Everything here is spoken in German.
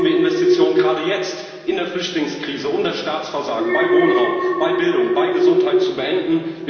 Dabei brauchen wir Investitionen gerade jetzt in der Flüchtlingskrise, um das Staatsversagen bei Wohnraum, bei Bildung, bei Gesundheit zu beenden.